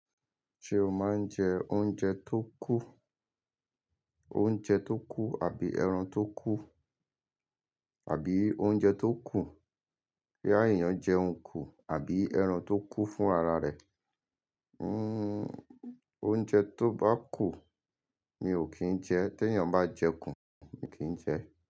Ṣé o máa ń jẹ oúnjẹ tó kù? Oúnjẹ tó kù àbí ẹran tó kù? Àbí oúnjẹ tó kù? Bóyá èèyàn jẹun kù àbí ẹran tó kú fún ara rẹ̀. Oúnjẹ tó bá kù mi ò kí n jẹ, tí ènìyàn bá jẹ kù mi kí n jẹ.